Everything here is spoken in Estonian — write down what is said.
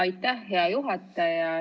Aitäh, hea juhataja!